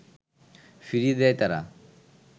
ফিরিয়ে দেয় তারা